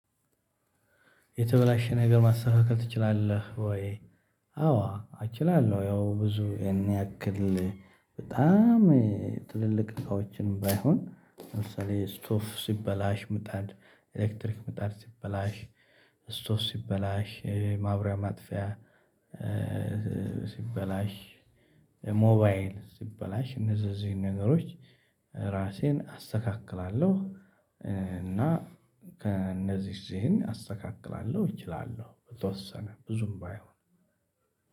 የተበላሸ ነገር ማስተካከል ትችላለህ ወይ? አዎ እችላለሁ ያው ብዙ ያን ያክል። በጣም ትልልቅ እንቃዎችን ባይሆን ለምሳሌ ስቶቭ ሲበላሽ ምጣድ ኤሌክትሪክ ምጣድ ሲበላሽ ስቶቭ ሲበላሽ ማብሪያ ማጥፊያ። ሲበላሽ ሞባይል ሲበላሽ እነዚህ እዚህ ነገሮች ራሴን አስተካክላለሁ። እና ከእነዚህ ስህን አስተካክላለሁ እችላለሁ በተወሰነ ብዙም ባይሆን።